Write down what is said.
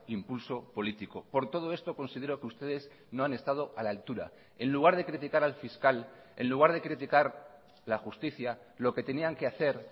impulso político por todo esto considero que ustedes no han estado a la altura en lugar de criticar al fiscal en lugar de criticar la justicia lo que tenían que hacer